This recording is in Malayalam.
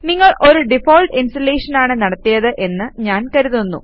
നിങ്ങൾ ഒരു ഡിഫാൾട്ട് ഇൻസ്റ്റലേഷൻ ആണ് നടത്തിയത് എന്ന് ഞാൻ കരുതുന്നു